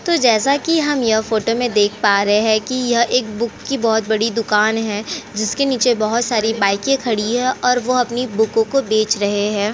तो जैसा की हम यह फोटो में हम देख पा रहे हैं की। यह एक बुक बहोत बड़ी दुकान है। जिसके नीचे बहोत सारी बाइक खड़ी है और वो अपनी बुक को बेच रहे है।